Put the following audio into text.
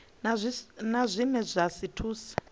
na zwine zwa si thuse